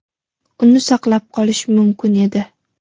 uni saqlab qolish mumkin edi.